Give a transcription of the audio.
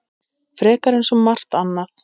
Frekar en svo margt annað.